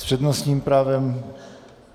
S přednostním právem...